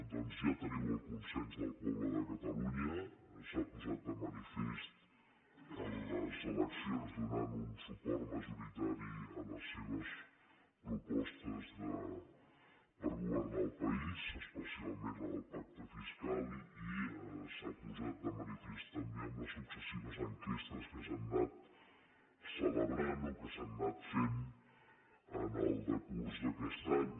doncs ja teniu el consens del poble de catalunya s’ha posat de manifest en les eleccions donant un suport majoritari a les seves propostes per governar el país especialment la del pacte fiscal i s’ha posat de manifest també amb les successives enquestes que s’han anat celebrant o que s’han anat fent en el decurs d’aquest any